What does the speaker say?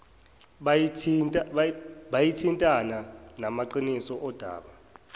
buyathintana namaqiniso odaba